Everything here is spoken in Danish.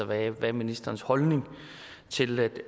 hvad er ministerens holdning til at